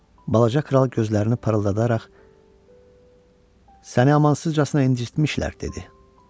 Balaca kral gözlərini parıldadaraq: "Səni amansızcasına incitmişlər," dedi.